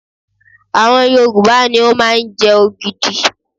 àwọn Yorùbá ní o ma nje ogidi